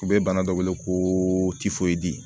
U bɛ bana dɔ wele ko